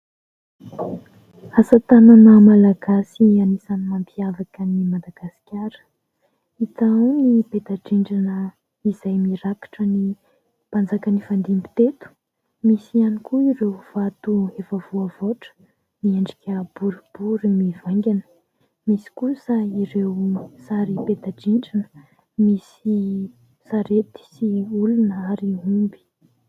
Asa tanana malagasy anisany mampiavaka an'i Madagasikara, hita ao ny peta-drindrina izay mirakitra ny mpanjaka nifandimby teto, misy ihany koa ireo vato efa voavoatra miendrika boribory mivaingana, misy kosa ireo sary peta-drindrina misy sarety sy olona ary omby.